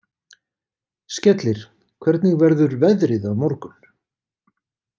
Skellir, hvernig verður veðrið á morgun?